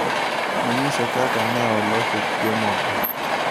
Nonyisa kaka neoloso chiemogo.